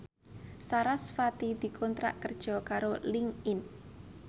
sarasvati dikontrak kerja karo Linkedin